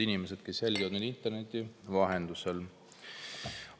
Head inimesed, kes jälgivad meid interneti vahendusel!